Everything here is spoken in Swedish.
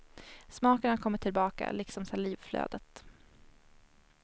Smaken har kommit tillbaka, liksom salivflödet.